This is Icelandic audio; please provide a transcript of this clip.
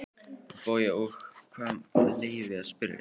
BAUJA: Og fyrir hvað með leyfi að spyrja?